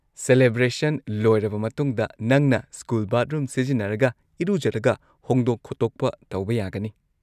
Celebration ꯂꯣꯏꯔꯕ ꯃꯇꯨꯡꯗ, ꯅꯪꯅ ꯁ꯭ꯀꯨꯜ ꯕꯥꯊꯔꯨꯝ ꯁꯤꯖꯤꯟꯅꯔꯒ ꯏꯔꯨꯖꯔꯒ ꯍꯣꯡꯗꯣꯛ-ꯈꯣꯠꯇꯣꯛꯄ ꯇꯧꯕ ꯌꯥꯒꯅꯤ꯫